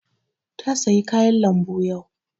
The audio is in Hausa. Ta saya kayan lambu yau